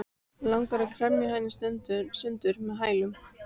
Langar að kremja hann í sundur með hælunum.